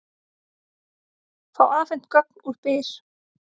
Fá afhent gögn úr Byr